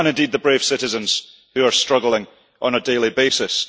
and indeed the brave citizens who are struggling on a daily basis.